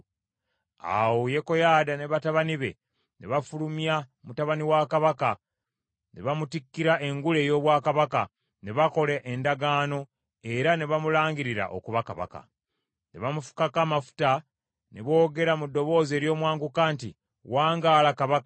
Awo Yekoyaada ne batabani be ne bafulumya mutabani wa kabaka ne bamutikkira engule ey’obwakabaka, ne bakola endagaano, era ne bamulangirira okuba kabaka. Ne bamufukako amafuta, ne boogera mu ddoboozi ery’omwanguka nti, “Wangaala kabaka!”